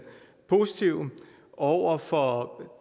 positive over for